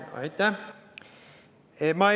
Aitäh!